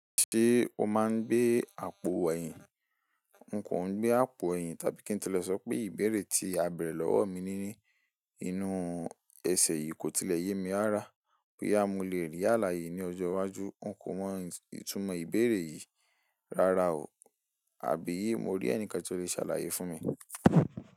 Ṣé o máa ń gbé àpò ẹ̀yìn? N kò ń gbé àpò ẹ̀yìn tàbí kí n tilẹ̀ sọ pé ìbéèrè tí a bèrè lọ́wọ́ mi ní inú ẹsẹ̀ yìí kò tilẹ̀ yé mi rára. Bóyá mọ lè rí àlàyé ní ọjọ́ iwájú, n kò mọ ìtumọ̀ ìbéèrè yìí rárá o, àbí mo rí ẹnìkan tí ó le ṣàlàyé fún mi?